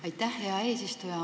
Aitäh, hea eesistuja!